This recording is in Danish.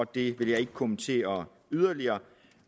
det vil jeg ikke kommentere yderligere